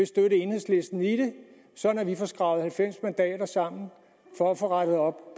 støtte enhedslisten sådan at vi får skrabet halvfems mandater sammen for at få rettet op